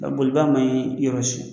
Nka boliba man ɲi yɔrɔ si